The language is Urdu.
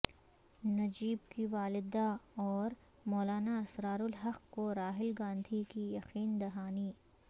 نجیب کی والدہ اور مولانا اسرار الحق کو راہل گاندھی کی یقین دہانی